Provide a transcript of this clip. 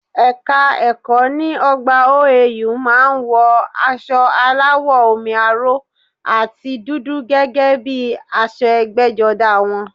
Ẹ́ka ẹ̀kọ́ ní ọgbà OAU má a ń wọ asọ aláwọ̀ omi aró àti dúdú gẹ́gẹ́ bíi aṣọ ẹgbẹ́jọdá wọn